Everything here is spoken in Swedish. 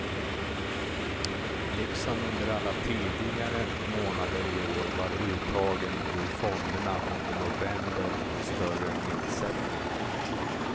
Liksom under alla tidigare månader i år var uttagen ur fonderna under november större än insättningarna.